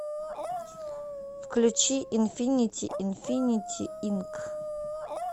включи инфинити инфинити инк